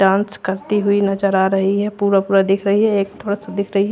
Dance करती हुई नजर आ रही है पूरा पूरा दिख रही है एक थोड़ा सा दिख रही है।